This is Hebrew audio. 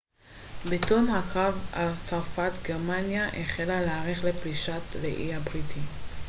בתום הקרב על צרפת גרמניה החלה להערך לפלישה לאי הבריטי